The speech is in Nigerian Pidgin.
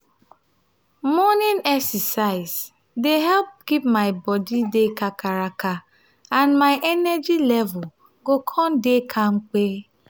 morning exercise dey help keep my body kakaraka and my energy level go come dey kampe.